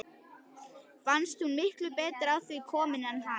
Fannst hún miklu betur að því komin en hann.